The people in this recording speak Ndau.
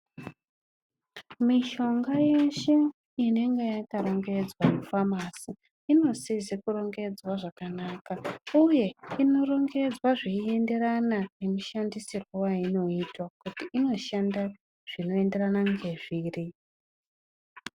Mishonga yeshe inenge yakarongedwa mumafamasi inosisa kurongedzwa zvakanaka uye inorongedzwa zvichienderana nemishandisirwo yainoitwa kuti inoshanda zvinoenderana ngezviri.